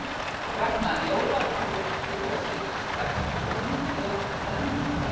Ragna, jólatrén byrjuðu að skila sér strax fyrir nokkrum dögum er það ekki?